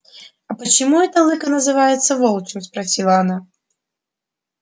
а почему это лыко называется волчьим спросила она